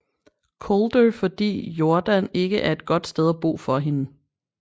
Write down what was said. Coulter fordi Jordan ikke er et godt sted at bo for hende